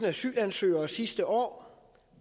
asylansøgere sidste år